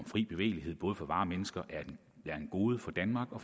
at fri bevægelighed både for varer og mennesker er et gode for danmark og